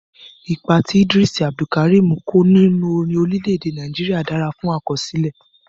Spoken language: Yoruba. Ipa tí ìdírísì Abdulkarim kó nínú orin orílẹ̀ èdè Nàìjíríà dára fún àkọsílẹ̀.